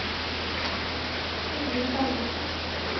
Ingvill Bergersen